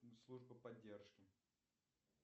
служба поддержки